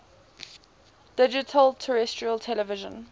digital terrestrial television